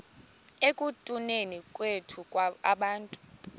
ekutuneni kwethu abantu